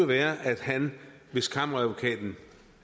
være at han hvis kammeradvokaten